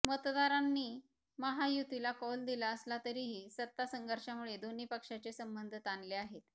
मतदारांनी महायुतीला कौल दिला असला तरीही सत्ता संघर्षामुळे दोन्ही पक्षाचे संबंध ताणले आहेत